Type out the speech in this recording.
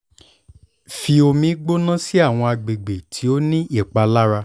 fi omi gbona si awọn agbegbe ti o ni ipalara